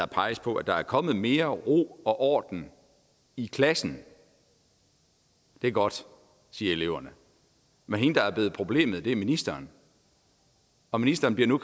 peges på at der er kommet mere ro og orden i klasserne og det er godt siger eleverne men den der er blevet et problem er ministeren og ministeren bliver nu